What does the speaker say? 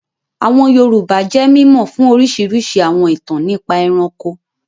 Àwọn Yorùbá jẹ́ mímọ̀ fún orísirísi àwọn ìtàn nípa ẹranko